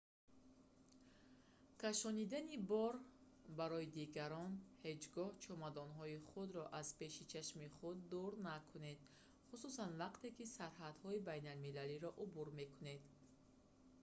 кашонидани бор барои дигарон ҳеҷ гоҳ ҷомадонҳои худро аз пеши чашми худ дур накунед хусусан вақте ки сарҳадҳои байналмилалиро убур мекунед